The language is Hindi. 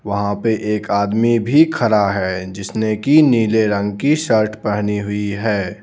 वहाँ पे एक आदमी भी खड़ा है जिसने की नीले रंग की शर्ट पहनी हुई है.